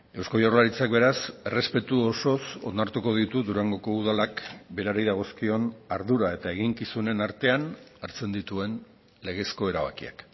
eusko jaurlaritzak beraz errespetu osoz onartuko ditu durangoko udalak berari dagozkion ardura eta eginkizunen artean hartzen dituen legezko erabakiak